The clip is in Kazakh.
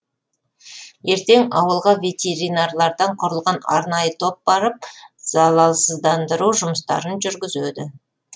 ертең ауылға ветеринарлардан құрылған арнайы топ барып залалсыздандыру жұмыстарын жүргізеді